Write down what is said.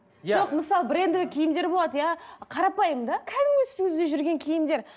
жоқ мысалы брендовый киімдер болады иә қарапайым да кәдімгі үстіңізде жүрген киімдер